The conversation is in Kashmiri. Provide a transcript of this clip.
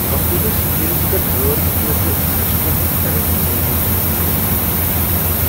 کمپیوٹر سکرینس پیٹھ غٲر متوقع سسٹم ایرر میسجہِ سوُزیہ ژے٘ پریشٲنی ہنز لہر ۔